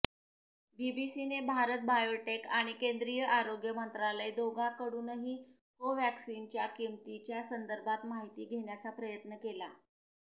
बीबीसीने भारत बायोटेक आणि केंद्रीय आरोग्य मंत्रालय दोघांकडूनही कोव्हॅक्सिनच्या किमतीच्या संदर्भात माहिती घेण्याचा प्रयत्न केला